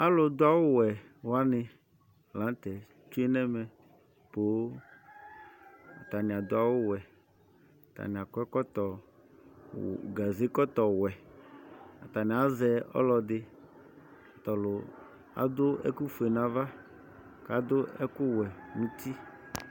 Alʋdʋ awʋwɛ wanɩ la nʋ tɛ tsue nʋ ɛmɛ poo Atanɩ adʋ awʋwɛ, atanɩ akɔ ɛkɔtɔ, gazekɔtɔwɛ Atanɩ azɛ ɔlɔdɩ tʋ ɔlʋ adʋ ɛkʋfue nʋ ava kʋ adʋ ɛkʋwɛ nʋ uti